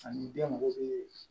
Ani den mago be